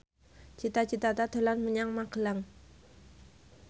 Cita Citata dolan menyang Magelang